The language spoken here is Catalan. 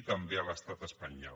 i també a l’estat espanyol